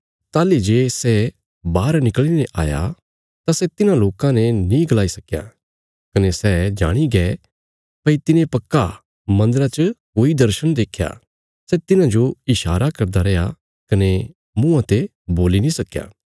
ताहली जे सै बाहर निकल़ीने आया तां सै तिन्हां लोकां ने नीं गलाई सकया कने सै जाणी गै भई तिने पक्का मन्दरा च कोई दर्शण देख्या सै तिन्हाजो ईशारा करदा रेआ कने मुँआं ते बोल्ली नीं सकया